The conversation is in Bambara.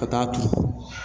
Ka taa ton